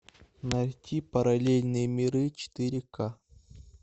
найти параллельные миры четыре ка